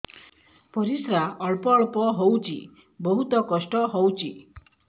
ପରିଶ୍ରା ଅଳ୍ପ ଅଳ୍ପ ହଉଚି ବହୁତ କଷ୍ଟ ହଉଚି